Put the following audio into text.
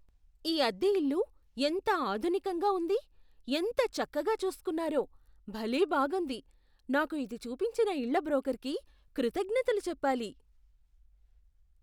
ఈ అద్దె ఇల్లు ఎంత ఆధునికంగా ఉంది, ఎంత చక్కగా చూస్కున్నారో, భలే బాగుంది! నాకు ఇది చూపించిన ఇళ్ళ బ్రోకర్కి కృతజ్ఞతలు చెప్పాలి.